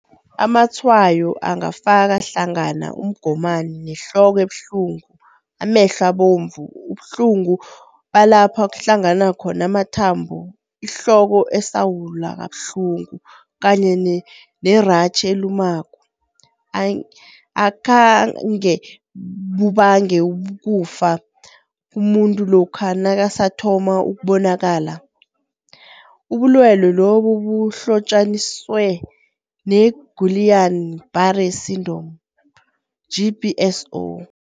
Amatshwayo angafaka hlangana umgomani nehloko ebuhlungu, abovu, ubuhlungu balapha kuhlangana khona amathambo ihloko esawula kabuhlungu, kanye neratjhi elumako. Akhange bubange ukufa komuntu lokha nakasathoma ukubonakala. Ubulwelwe lobu buhlotjaniswe ne-Guillain-Barre syndrom, GBS0.